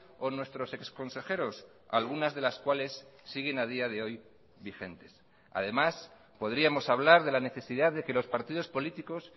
o nuestros ex consejeros algunas de las cuales siguen a día de hoy vigentes además podríamos hablar de la necesidad de que los partidos políticos